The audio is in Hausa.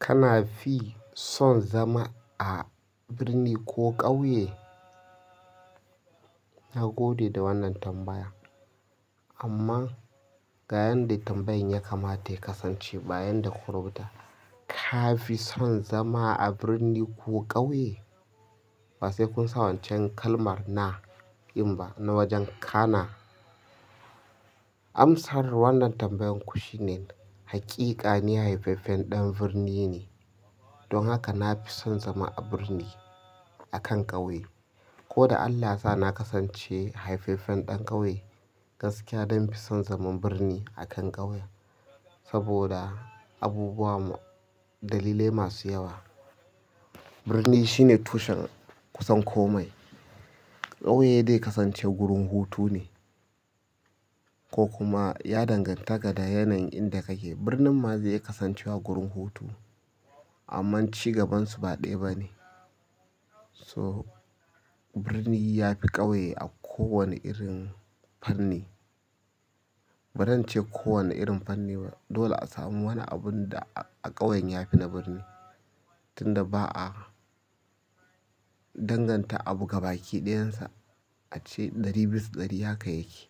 Kana fi son zama a birni ko ƙauye? Na gode da wannan tambaya. Amma ga yanda tambayan ya kamata ya kasance ba yanda kuka rubuta, ka fi son zama a birni ko ƙauye? Ba sai kun sa wancan kalmar na in ba na wajen kana. Amsar wannan tambayan ku shine, hakika ni haifaffen ɗan birni ne. Don haka na fi son zama a birni akan ƙauye. Ko da Allah yasa na kasance haifaffen ɗan ƙauye, gaskiya zan fi son zaman birni akan ƙauye. Saboda abubuwa dalilai masu yawa. Birni shine tushen kusan komai. Ƙauye zai kasance gurin hutu ne. Ko kuma ya danganta ga da yanayin inda kake. Birnin ma zai kasancewa gurin hutu. Amma ci gabansu ba ɗaya ba ne. So, birni ya fi ƙauye a kowane irin fanni. Ba zance ko wani irin fanni ba dole a samu wani abunda a ƙauye yafi na birni tunda ba'a danganta abu gabaki dayansa ace ɗari bisa ɗari haka yake.